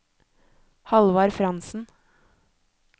Hallvard Frantzen